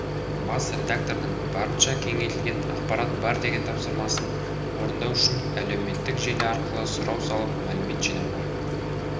бас редактордың барынша кеңейтілген ақпарат бер деген тапсырмасын орындау үшін әлеуметтік желі арқылы сұрау салып мәлімет жинауға